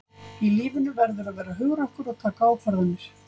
Í lífinu verðurðu að vera hugrakkur og taka ákvarðanir.